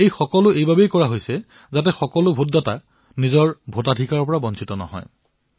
এই সকলোবোৰ এই কাৰণেই কৰা হৈছিল যাতে এয়া সুনিশ্চিত হওক যাতে কোনো ভোটদাতাই নিজৰ ভোটৰ পৰা বঞ্চিত হব নালাগে